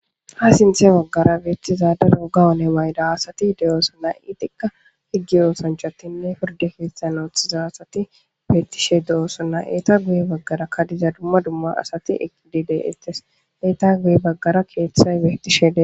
ha sinthe baggara beettizada roga one mayda asati de7oosonna iitikka higgi oosanchatinne porde keettanoothiza asati beettishe de7ossonna eeta guye baggara kadiza dumma dumma asati eqidide istes eeta guye baggara keeththay wetishede